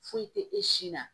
Foyi tɛ e si na